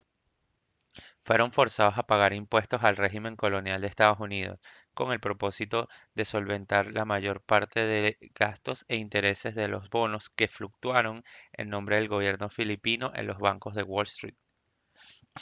fueron forzados a pagar impuestos al régimen colonial de ee uu con el propósito de solventar la mayor parte de los gastos e intereses de los bonos que fluctuaron en nombre del gobierno filipino en los bancos de wall street